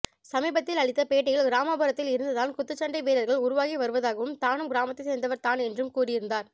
சமீபத்தில் அளித்த பேட்டியில் கிராமப்புரத்தில் இருந்துதான் குத்துச்சண்டை வீரர்கள் உருவாகி வருவதாகவும் தானும் கிராமத்தை சேர்ந்தவர் தான் என்றும் கூறியிருந்தார்